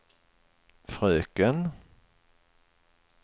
fröken